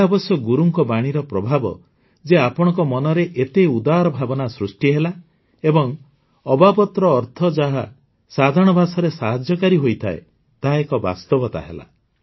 ଏହା ଅବଶ୍ୟ ଗୁରୁଙ୍କ ବାଣୀର ପ୍ରଭାବ ଯେ ଆପଣଙ୍କ ମନରେ ଏତେ ଉଦାର ଭାବନା ସୃଷ୍ଟି ହେଲା ଏବଂ ଅବାବତ୍ର ଅର୍ଥ ଯାହା ସାଧାରଣ ଭାଷାରେ ସାହାଯ୍ୟକାରୀ ହୋଇଥାଏ ତାହା ଏକ ବାସ୍ତବତା ହେଲା